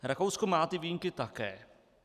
Rakousko má ty výjimky také.